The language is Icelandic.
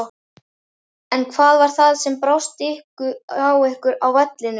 En hvað var það sem brást hjá ykkur á vellinum?